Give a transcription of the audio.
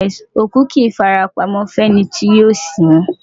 Òkú kì í fara pamọ́ fẹ́ni tí yóò sin ín.